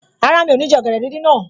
Rárá, mi ò ní jẹ ọ̀gẹ̀dẹ̀ díndín náà